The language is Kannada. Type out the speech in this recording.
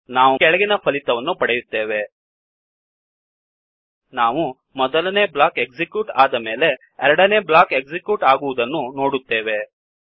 ನಾವು ಈ ಕೆಳಗಿನ ಫಲಿತವನ್ನು ಪಡೆಯುತ್ತೇವೆ ನಾವು ಮೊದಲನೇ ಬ್ಲಾಕ್ ಎಕ್ಸಿಕ್ಯೂಟ್ ಆದಮೇಲೆ ಎರಡನೇ ಬ್ಲಾಕ್ ಎಕ್ಸಿಕ್ಯೂಟ್ ಆಗುವುದನ್ನು ನೋಡುತ್ತೇವೆ